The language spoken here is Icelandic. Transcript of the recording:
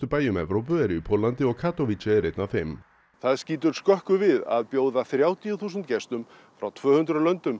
bæjum Evrópu eru í Póllandi og Katowice er einn af þeim það skýtur skökku við að þrjátíu þúsund gestum frá tvö hundruð